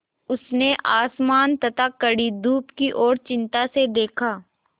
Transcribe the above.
उसने आसमान तथा कड़ी धूप की ओर चिंता से देखा